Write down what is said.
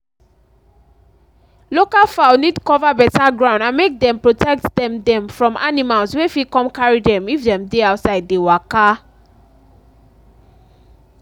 local fowl need cover better ground and make dem protect dem dem from animals wey fit come carry dem if dem dey outside dey waka.